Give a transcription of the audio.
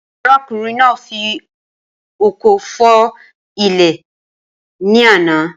Arákùnrin náà fi ọkọ fọ́ ilẹ̀ líle ní àná